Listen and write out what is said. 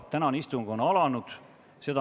Tänane istung on alanud.